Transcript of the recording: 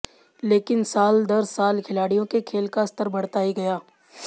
लेकिन साल दर साल खिलाड़ियों के खेल का स्तर बढ़ता ही गया